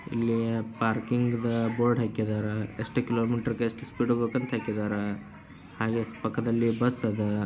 ಇಲ್ಲಿ ಪಾರ್ಕಿಂಗ್ದ ಬೋರ್ಡ್ ಹಾಕಿದರೆ ಎಷ್ಟ ಕಿಲೋ ಮೀಟರು ಗೆ ಎಷ್ಟ ಸ್ಪೀಡ್ ಹೋಗಬೇಕು ಅಂತ ಹಾಕಿದರೆ ಹಾಗೆ ಪಕ್ಕದಲಿ ಬಸ್ ಅದ.